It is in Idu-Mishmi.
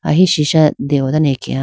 ahi sisha dewo dane akeya.